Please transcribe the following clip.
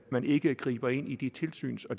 man ikke griber ind i de tilsyns og